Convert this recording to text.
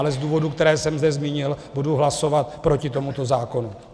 Ale z důvodů, které jsem zde zmínil, budu hlasovat proti tomuto zákonu.